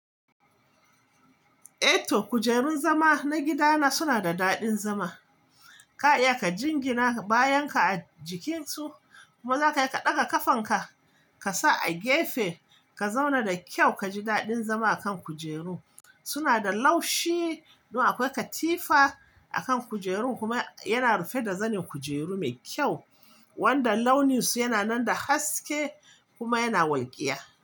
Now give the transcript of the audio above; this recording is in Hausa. Eh to kujerun zama na gidana suna da daɗin zama. Ka iya ka jingina bayanka a jikinsu kuma za ka iya ka ɗaga kafanka ka sa a gefe ka zauna da kyau ka ji daɗin zama a kan kujeru. Suna da laushi kuma akwai katifa a kan kujerun kuma yana rufe da zanin kujeru mai kyau wanda launinsu yana nan da haske kuma yana walƙiya.